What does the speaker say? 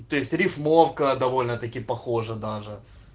то есть рифмовка довольно таки похоже даже